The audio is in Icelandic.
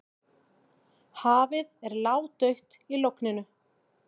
Hafið er ládautt í logninu.